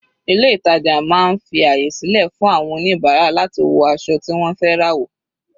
Ilé ìtàjà máa ń fi àyè sílẹ̀ fún àwọn oníbàárà láti wọ aṣọ tí wọ́n fẹ́ rà wò.